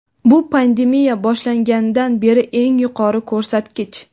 bu pandemiya boshlanganidan beri eng yuqori ko‘rsatkich.